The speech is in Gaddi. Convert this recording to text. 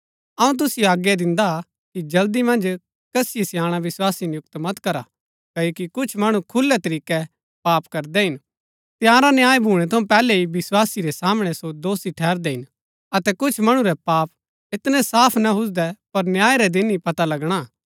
अऊँ तुसिओ आज्ञा दिन्दा हा कि जल्दी मन्ज कसिओ स्याणा विस्वासी नियुक्त मत करा क्ओकि कुछ मणु खुलै तरीकै पाप करदै हिन तंयारा न्याय भूणै थऊँ पैहलै ही विस्वासी रै सामणै सो दोषी ठहरदै हिन अतै कुछ मणु रै पाप ऐतनै साफ ना हुजदै पर न्याय रै दिन ही पता लगणा हा